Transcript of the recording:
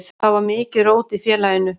Þá var mikið rót í félaginu.